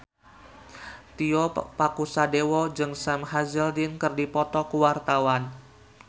Tio Pakusadewo jeung Sam Hazeldine keur dipoto ku wartawan